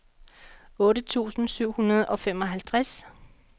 otte tusind syv hundrede og femoghalvtreds